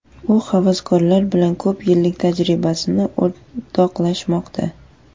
U havaskorlar bilan ko‘p yillik tajribasini o‘rtoqlashmoqda.